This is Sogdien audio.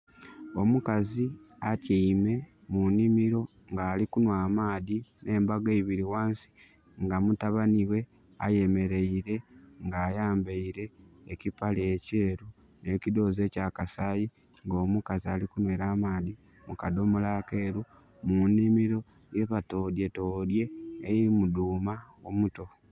Omukazi atyaime mu nhimiro nga ali kunhwa amaadhi, n'embago eibiri ghansi. Nga mutabani ghe ayemeleire nga ayambaile ekipale ekyeeru n'ekidhoozi eky'akasaayi. Nga omukazi ali kunhwera amaadhi mu kadhomola akeeru mu nhimiro ghebatodyetodye, elimu dhuuma omuto.